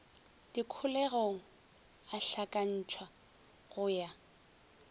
dikholegong a hlakantšhwa go ya